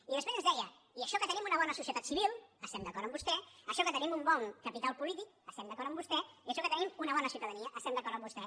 i després ens deia i això que tenim una bona societat civil estem d’acord amb vostè això que tenim un bon capital polític estem d’acord amb vostè i això que tenim una bona ciutadania estem d’acord amb vostè